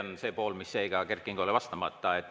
See on see pool, mis jäi ka Kert Kingole vastamata.